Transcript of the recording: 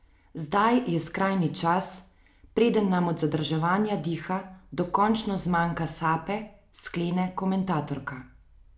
Zdaj je skrajni čas, preden nam od zadrževanja diha dokončno zmanjka sape, sklene komentatorka.